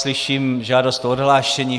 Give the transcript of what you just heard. Slyším žádost o odhlášení.